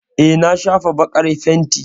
Eh, na shafa baƙar fenti.